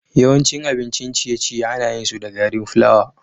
Yawancin abincin ciye-ciye ana yin su da gari flawa.